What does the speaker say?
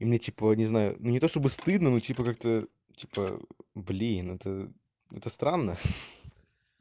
и мне типа не знаю ну не то чтобы стыдно ну типа как-то типа блин это это странно ха-ха